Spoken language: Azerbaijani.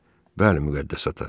Bəli, Müqəddəs ata.